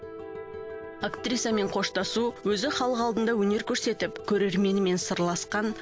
актрисамен қоштасу өзі халық алдында өнер көрсетіп көрерменімен сырласқан